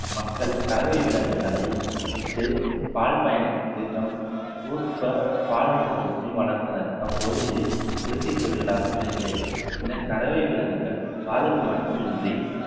மக்கள் கறவை விலங்குகளை விட்டு பால் பயணத்திற்கு தம் உற்பபால் நுகர்வுக்கும் வளர்த்தனர் அப்போது இது குடிசை தொழிலாக விளங்கியது இந்த கறவை விலங்குகள் பாலுக்கு மட்டுமின்றி